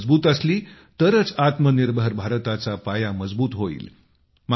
ही मजबूत असली तरच आत्मनिर्भर भारताचा पाया मजबूत होईल